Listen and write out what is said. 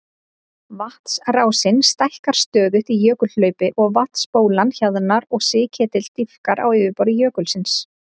Vatnsrásin stækkar stöðugt í jökulhlaupi og vatnsbólan hjaðnar og sigketill dýpkar á yfirborði jökulsins.